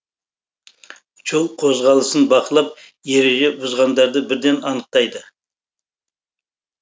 жол қозғалысын бақылап ереже бұзғандарды бірден анықтайды